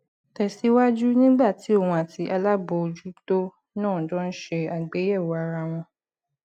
tè síwájú nígbà tí òun àti alábòójútó náà jọ ń ṣe àgbéyèwò ara wọn